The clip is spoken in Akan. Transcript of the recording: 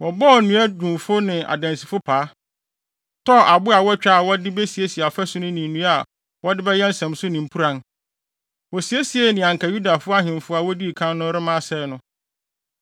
Wɔbɔɔ nnuadwumfo ne adansifo paa, tɔɔ abo a wɔatwa a wɔde besiesie afasu no ne nnua a wɔde bɛyɛ nsɛmso ne mpuran. Wosiesie nea anka Yuda ahemfo a wodii kan no rema asɛe no.